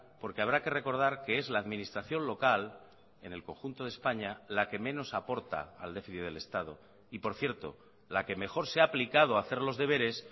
porque habrá que recordar que es la administración local en el conjunto de españa la que menos aporta al déficit del estado y por cierto la que mejor se ha aplicado a hacer los deberes